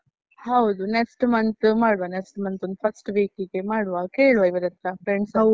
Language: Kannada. ಹೌದು, next month ಮಾಡ್ವ next month ಒಂದ್ first week ಗೆ ಮಾಡುವ ಕೇಳುವ ಇವರತ್ರ friends ಹತ್ರ.